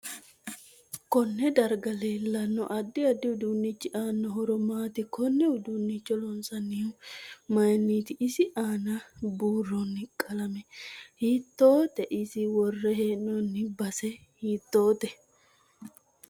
Konne daraga leelanno addi addi uduunichi aano horo maati konne uduunicho loonsoonihu mayiiniti isi aana buuroni qalame hiitoote isi worre heenooni base hiitoote